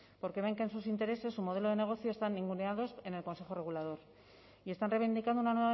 porque ven que en sus intereses su modelo de negocio están ninguneados en el consejo regulador y están reivindicando una